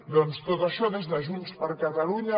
doncs tot això des de junts per catalunya